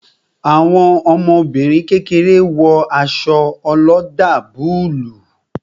Àwọn ọmọbìnrin kékeré wo aṣọ oloda búlúù